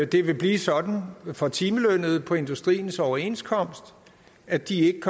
det vil blive sådan for timelønnede på industriens overenskomst at de i